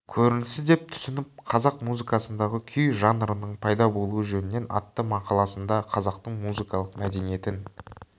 көрінісі деп түсініп қазақ музыкасындағы күй жанрының пайда болуы жөнінен атты мақаласында қазақтың музыкалық мәдениетін